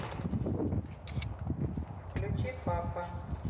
включи папа